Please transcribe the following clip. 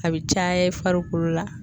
A bɛ caya i farikolo la.